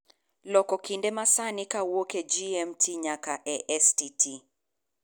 loko kinde ma sani kowuok e g. m. t. nyaka e. s. t. t.